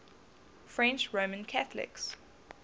french roman catholics